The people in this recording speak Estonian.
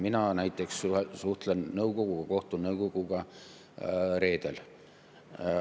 Mina näiteks suhtlen nõukoguga ja kohtun nõukoguga reedel.